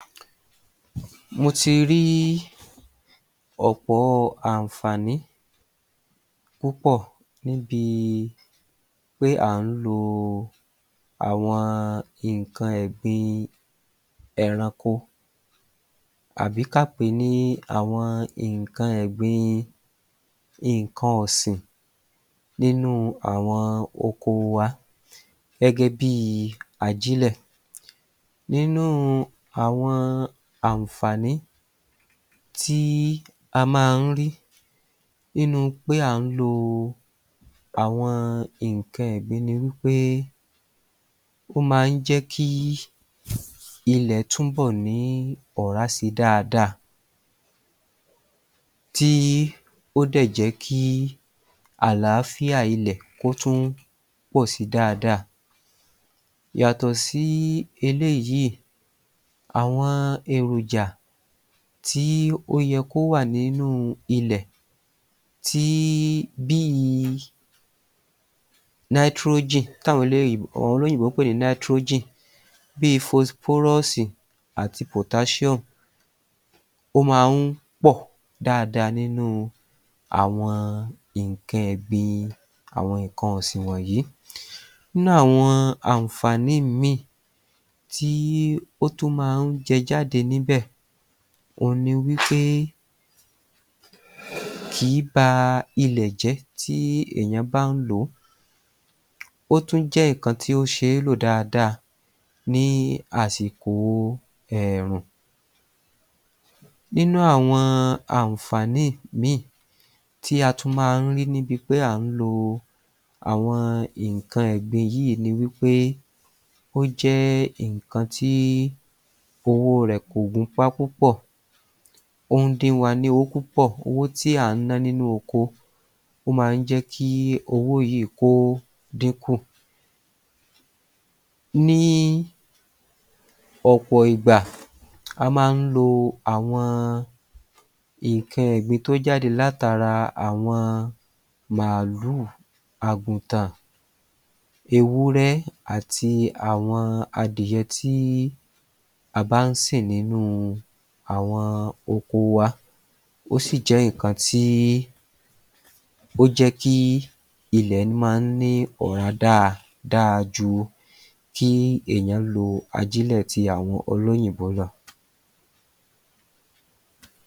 Mo ti rí ọ̀pọ̀ àǹfààní púpọ̀ níbi pé à ń lo àwọn nǹkan ẹ̀gbin ẹranko àbí ká pèé ní àwọn nǹkan ẹ̀gbin nǹkan ọ̀sìn nínú àwọn oko wa gẹ́gẹ́bí ajílẹ̀. Nínú àwọn àǹfààní tí a máa ń rí nínu pé à ń lo àwọn nǹkan ẹ̀gbin ni wí pé ó máa ń jẹ́kí ilẹ̀ túnbọ̀ ní ọ̀rá si dáadáa tí ó dẹ̀ jẹ́kí àlàáfíà ilẹ̀ kó tún pọ̀ si dáadáa. Yàtọ̀ sí eléyìí, àwọn èròjà tí o yẹ kí ó wà nínú ilẹ̀ tí bí i táwọn olóyìnbó àwọn olóyìnbó pè ní bí i àti. Ó máa ń pọ̀ dáadáa nínú àwọn nǹkan ẹ̀gbin àwọn nǹkan ọ̀sìn wọ̀nyí. Nínú àwọn àǹfààní ìmí tí ó tún máa ń jẹ jáde níbẹ̀, òhun ni wí pé kì í ba ilẹ̀ jẹ tí èèyàn bá ń lò ó. Ó tún jẹ́ nǹkan tí o ṣeé lò dáadáa ní àsìkò ẹ̀ẹ̀rùn. Nínú àwọn àǹfààní mìí tí a tún máa ń rí níbi pé à ń lo àwọn nǹkan ẹ̀gbin yìí ni wí pé ó jẹ́ nǹkan tí owó rẹ̀ kò gúnpá púpọ̀, ó ń dín wa ní owó púpọ̀ owó tí à ń nọ́ nínú oko ó máa ń jẹ́kí owó yìí kó dínkù. Ní ọ̀pọ̀ ìgbà, a máa ń lo àwọn nǹkan ẹ̀gbin tó jáde látara àwọn màálù, àgùntàn, ewúrẹ́, àti àwọn adìẹ tí a bá ń sìn nínú àwọn oko wa. Ó sì jẹ́ nǹkan tí bó jẹ́ kí ilẹ̀ máa ń ní ọ̀rá dá dáa ju kí èèyàn lo ajílẹ̀ ti àwọn olóyìnbó lọ.